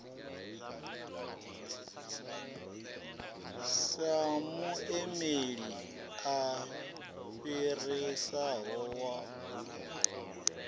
sa muimeli a fhirisaho wa